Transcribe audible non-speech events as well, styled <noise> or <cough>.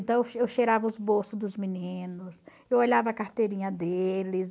Então, <unintelligible> eu cheirava os bolsos dos meninos, eu olhava a carteirinha deles.